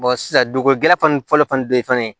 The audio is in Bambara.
sisan dugu gɛlafan fɔlɔ fani don yen fana